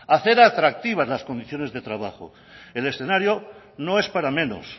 hacer atractivas las condiciones de trabajo el escenario no es para menos